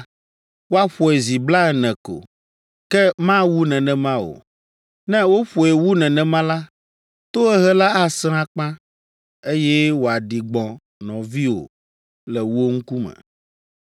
Woaƒoe zi blaene ko, ke mawu nenema o. Ne woƒoe wu nenema la, tohehe la asẽ akpa, eye wòaɖi gbɔ̃ nɔviwò le wò ŋkume.